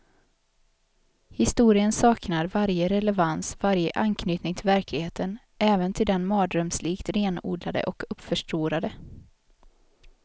Historien saknar varje relevans, varje anknytning till verkligheten, även till den mardrömslikt renodlade och uppförstorade.